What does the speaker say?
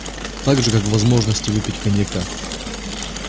так же как возможности выпить коньяка